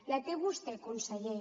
la té vostè conseller